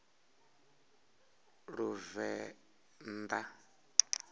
luvenḓa